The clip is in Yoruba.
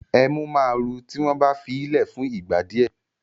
Ẹmú ma ru tí wọ́n bá fíì lẹ̀ fún ìgbà díẹ̀